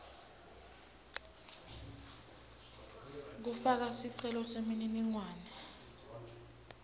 kufaka sicelo semininingwane